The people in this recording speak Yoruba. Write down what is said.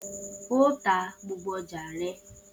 O ta gbogbo oja rẹ.